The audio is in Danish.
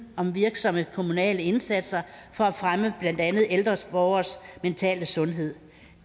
om virksomme kommunale indsatser for at fremme blandt andet ældre borgeres mentale sundhed